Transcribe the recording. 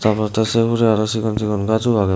tar pore the se hure aro sigon sigon ghajo agey.